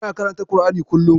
Tana karanta ƙur'ani kullum.